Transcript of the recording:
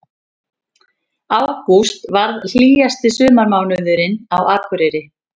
Ágúst varð hlýjasti sumarmánuðurinn á Akureyri